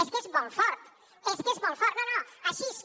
és que és molt fort és que és molt fort no no així és com